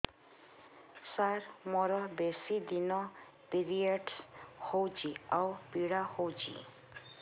ସାର ମୋର ବେଶୀ ଦିନ ପିରୀଅଡ଼ସ ହଉଚି ଆଉ ପୀଡା ହଉଚି